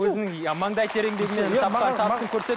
өзінің ы маңдай тер еңбегімен тапқан табысын